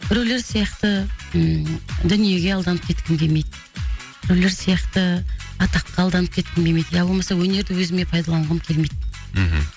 біреулер сияқты ы дүниеге алданып кеткім келмейді біреулер сияқты атаққа алданып кеткім келмейді ия болмаса өнерді өзіме пайдаланғым келмейді мхм